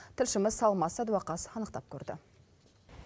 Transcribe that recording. тілшіміз алмас садуақас анықтап көрді